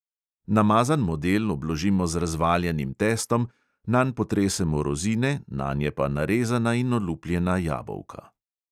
Namazan model obložimo z razvaljanim testom, nanj potresemo rozine, nanje pa narezana in olupljena jabolka.